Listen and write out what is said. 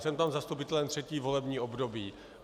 Jsem tam zastupitelem třetí volební období.